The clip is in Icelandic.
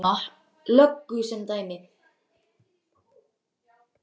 Ég tek Gumma löggu sem dæmi.